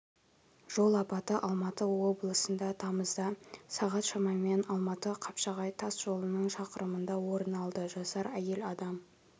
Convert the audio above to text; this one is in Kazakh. жол апаты алматы облысында тамызда сағат шамамен алматы-қапшағай тас жолының шақырымында орын алды жасар әйел адам